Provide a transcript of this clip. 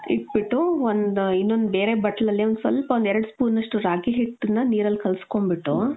ಇಟ್ಬಿಟ್ಟು ಒಂದ್ ಇನೊಂದು ಬೇರೆ ಬಟ್ಲಲ್ಲಿ ಒಂದ್ ಸ್ವಲ್ಪ ಒಂದೆರಡ್ spoon ಅಷ್ಟು ರಾಗಿ ಹಿಟ್ಟನ್ನ ನೀರಲ್ ಕಲ್ಸ್ಕೊಂಡ್ ಬಿಟ್ಟು .